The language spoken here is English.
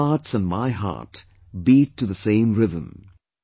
Their heartsand my heart beat to the same rhythm